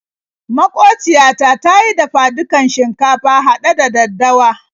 Maƙociya ta ta yi dafa-dukan shinkafa haɗe da daddawa.